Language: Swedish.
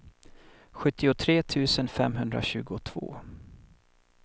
sjuttiotre tusen femhundratjugotvå